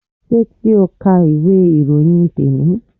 Ṣé ti o ka ìwé ìròyìn te ni?